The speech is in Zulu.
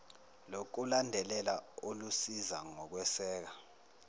lokulandelela olusiza ngokweseka